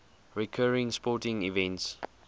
recurring sporting events